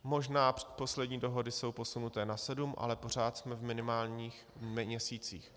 Možná poslední dohody jsou posunuté na sedm, ale pořád jsme v minimálních měsících.